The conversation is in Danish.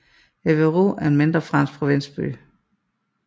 Évreux er en mindre fransk provinsby